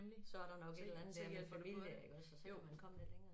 Så der nok et eller andet der med familie iggås og så kan man komme lidt længere